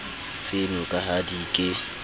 tseno ka ha di ke